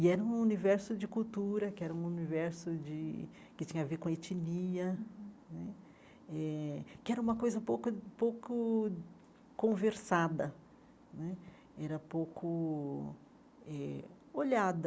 E era um universo de cultura, que era um universo de que tinha a ver com etnia né, eh que era uma coisa pouca pouco conversada né, era pouco eh olhada.